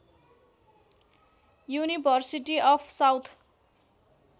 university of south